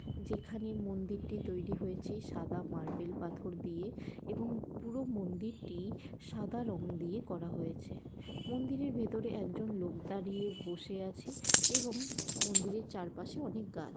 যেখানে মন্দিরটি তৈরি হয়েছে সাদা মার্বেল পাথর দিয়ে এবং পুরো মন্দিরটি সাদা রং দিয়ে করা হয়েছে মন্দিরে ভেতরে একজন লোক দাঁড়িয়ে বসে আছে এবং মন্দিরে চারপাশে অনেক গা --